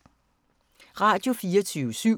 Radio24syv